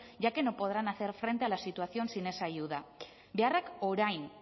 ya que no podrán hacer frente a la situación sin esa ayuda beharrak orain